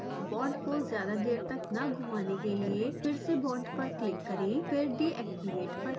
bond को ज्यादा देर तक न घुमाने के लिए फिर से bond पर क्लिक करें फिर deactivateपर क्लिक करें